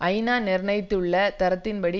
ஐநா நிர்ணயித்துள்ள தரத்தின் படி